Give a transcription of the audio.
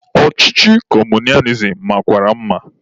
Ọchịchị kọmunizim makwara mma.